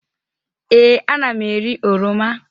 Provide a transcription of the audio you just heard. Ee, ana m eri oroma.